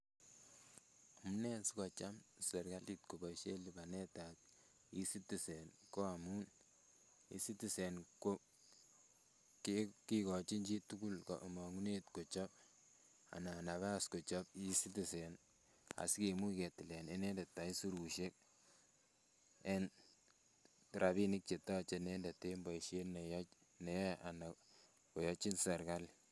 Amune sikocham sirkalit koboishen libanetab ecitizen ko amun ecitizen kekochin chitukul komongunet kechob anan nabas kochob ecitizen asikimuch ketilen inendet aisirushek en rabinik chetoche inendet en boishet neyoe anan koyochin sirikali.